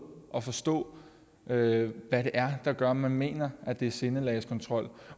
at forstå hvad det er der gør at man mener at det er sindelagskontrol